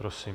Prosím.